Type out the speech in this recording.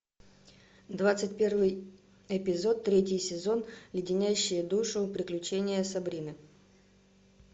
двадцать первый эпизод третий сезон леденящие душу приключения сабрины